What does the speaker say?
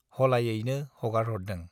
हलायैनो हगारहरदों।